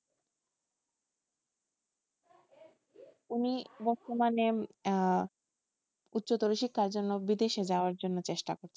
উনি বর্তমানে আহ উচ্চতর শিক্ষার জন্য বিদেশে যাওয়ার জন্য চেষ্টা করছেন,